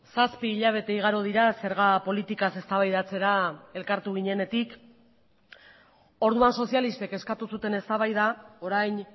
zazpi hilabete igaro dira zerga politikaz eztabaidatzera elkartu ginenetik orduan sozialistek eskatu zuten eztabaida orain